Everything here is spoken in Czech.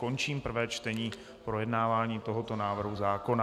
Končím prvé čtení projednávání tohoto návrhu zákona.